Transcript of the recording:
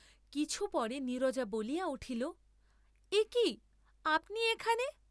কিছু পরে নীরজা বলিয়া উঠিল একি, আপনি এখানে?